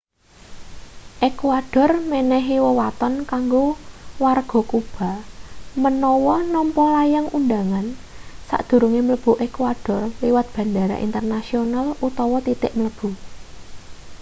ékuador menehi wewaton kanggo warga kuba menawa nampa layang undhangan sadurunge mlebu ékuador liwat bandara internasional utawa titik mlebu